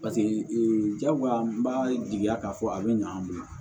Paseke jagoya n b'a jigiya k'a fɔ a bɛ ɲa an bolo